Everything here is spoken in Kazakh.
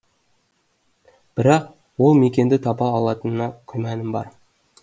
бірақ ол мекенді таба алатыныма күмәнім бар